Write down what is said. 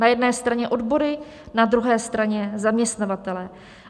Na jedné straně odbory, na druhé straně zaměstnavatelé.